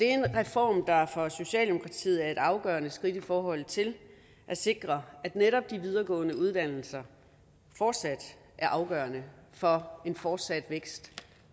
en reform der for socialdemokratiet er et afgørende skridt i forhold til at sikre at netop de videregående uddannelser fortsat er afgørende for en fortsat vækst